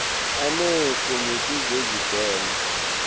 aneekomiti zezib heno